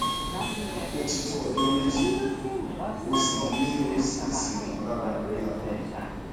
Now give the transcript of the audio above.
ó ti tó ọjọ méjì mo sì ń ní oríṣiríṣi ìmọlára lórí ahọn mi